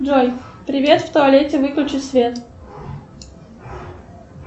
джой привет в туалете выключи свет